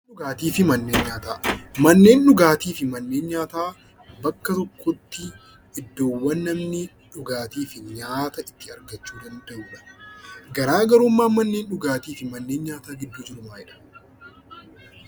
Dhugaatti fi mannen nyaataa. Mannen dhugaatti fi mannen nyaataa bakka tokkotti iddoowwan namni dhugaatti fi nyaataa itti argachuu danda'udha. Garagarummaan mannen dhugaatti fi mannen nyaataa gidduuu jiruu maalidha?